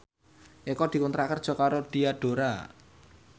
Eko dikontrak kerja karo Diadora